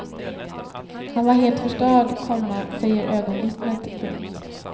Han var helt förstörd, komma säger ögonvittnet. punkt